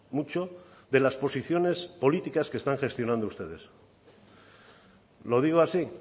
mucho de las posiciones políticas que están gestionando ustedes lo digo así